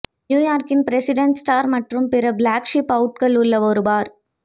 New York இன் president store மற்றும் பிற ஃப்ளாக்ஷிப் அவுட்கள் உள்ள ஒரு பார்